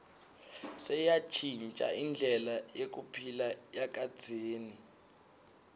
seyantjintja indlela yekuphila yakadzeni